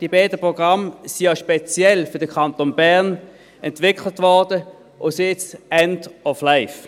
Die beiden Programme wurden ja speziell für den Kanton Bern entwickelt und sind jetzt end of life.